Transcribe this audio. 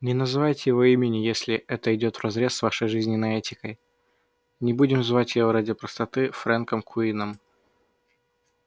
не называйте его имени если это идёт вразрез с вашей железной этикой но будем звать его ради простоты фрэнком куинном